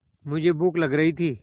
मुझे भूख लग रही थी